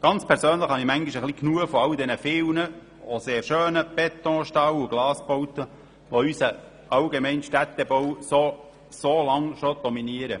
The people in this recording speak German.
Rein persönlich habe ich manchmal etwas genug von diesen vielen, auch sehr schönen Beton-, Stahl- und Glasbauten, die unseren Städtebau schon so lange dominieren.